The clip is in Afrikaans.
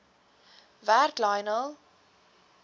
werk lionel